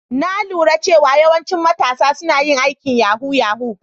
Na lura cewa yawancin matasa suna yin aikin yahoo -yahoo.